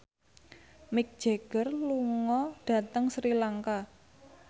Mick Jagger lunga dhateng Sri Lanka